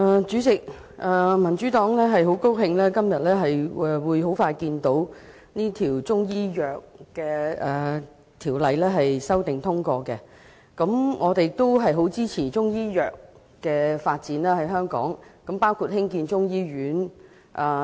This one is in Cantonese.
主席，民主黨很高興看到今天《2017年中醫藥條例草案》很快便會獲得通過，而我們亦很支持中醫藥在香港的發展，包括興建中醫醫院。